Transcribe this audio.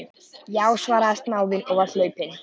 Já, svaraði snáðinn og var hlaupinn.